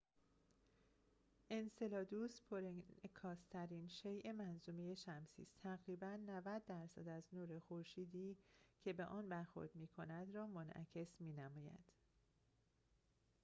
انسلادوس پرانعکاس‌ترین شیء منظومه شمسی است تقریباً ۹۰ درصد از نور خورشیدی که به آن برخورد می‌کند را منعکس می‌نماید